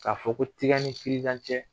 K'a fɔ ko tiga ni cɛ